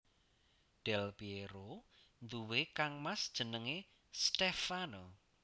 Del Pièro duwé kangmas jenengé Stèfano